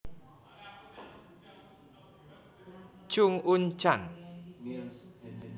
Chung Un chan